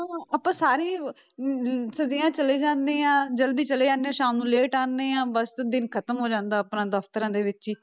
ਆਪਾਂ ਸਾਰੇ ਹੀ ਅਮ ਛੇਤੀ ਹੀ ਚਲੇ ਜਾਂਦੇ ਹਾਂ ਜ਼ਲਦੀ ਚਲੇ ਜਾਂਦੇ ਹਾਂ ਸ਼ਾਮ ਨੂੰ ਲੇਟ ਆਉਂਦੇ ਹਾਂ ਬਸ ਦਿਨ ਖ਼ਤਮ ਹੋ ਜਾਂਦਾ ਹੈ ਆਪਣਾ ਦਫ਼ਤਰਾਂ ਦੇ ਵਿੱਚ ਹੀ।